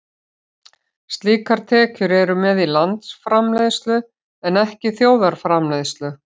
Slíkar tekjur eru með í landsframleiðslu en ekki þjóðarframleiðslu.